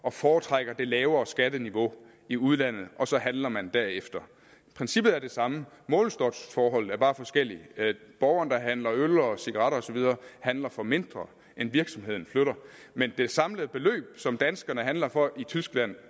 og foretrækker det lavere skatteniveau i udlandet og så handler man derefter princippet er det samme målestoksforholdet er bare forskelligt borgeren der handler øl og cigaretter osv handler for mindre end virksomheden flytter men det samlede beløb som danskerne handler for i tyskland